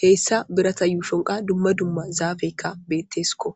heyssa birata yuushon qa dumma dumma zaaffeykka bettesiko.